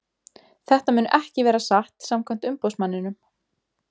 Þetta mun ekki vera satt samkvæmt umboðsmanninum.